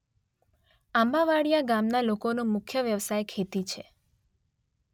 આંબાવાડીયા ગામના લોકોનો મુખ્ય વ્યવસાય ખેતી છે.